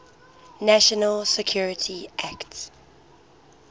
national security act